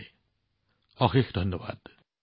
আপোনালোক সকলোকে বহুত বহুত ধন্যবাদ